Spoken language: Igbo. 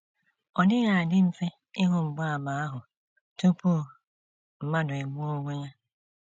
Ọ dịghị adị mfe ịhụ mgbaàmà ahụ tupu mmadụ egbuo onwe ya.